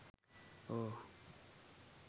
oh